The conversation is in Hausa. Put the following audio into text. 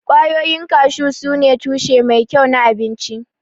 Ƙwayoyin kashu sune tushe mai kyau na abinci.